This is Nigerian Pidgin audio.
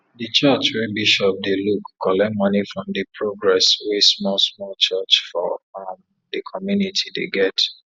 di church wey bishop dey look collect money from di progress wey small small church for um di community dey get